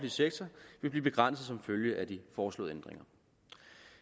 sektor vil blive begrænset som følge af de foreslåede ændringer